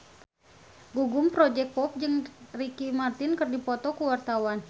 Gugum Project Pop jeung Ricky Martin keur dipoto ku wartawan